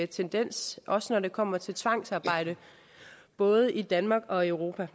tendens også når det kommer til tvangsarbejde både i danmark og i europa